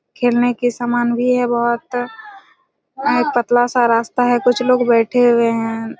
खेलने के समान भी हैं बहुत और पतला रास्ता हैं कुछ लोग बैठे हुए हैं।